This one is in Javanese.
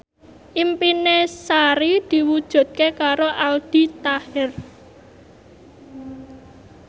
impine Sari diwujudke karo Aldi Taher